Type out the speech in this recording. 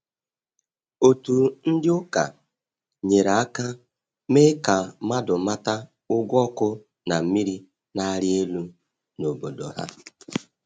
Otu ndị ụka nyere aka mee ka mmadụ mata ụgwọ ọkụ na mmiri na-arị elu n’obodo ha.